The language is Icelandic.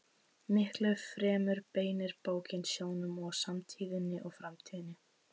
Miklu fremur beinir bókin sjónum að samtíðinni og framtíðinni.